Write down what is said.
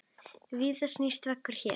Víða snýst á vegum hér.